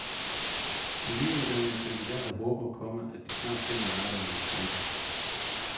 De nyuddannede kandidater håber, komma at de snart finder et arbejde. punktum